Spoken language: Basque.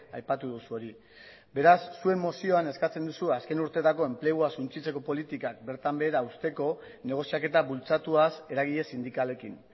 aipatu duzu hori beraz zuen mozioan eskatzen duzu azken urteetako enplegua suntsitzeko politikak bertan behera uzteko negoziaketa bultzatuaz eragile sindikalekin